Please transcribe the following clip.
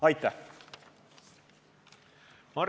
Aitäh!